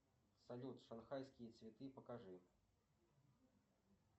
салют шанхайские цветы покажи